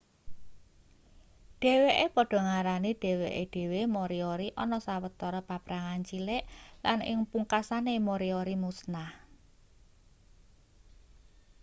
dheweke padha ngarani dheweke dhewe moriori ana sawetara paprangan cilik lan ing pungkasane moriori musnah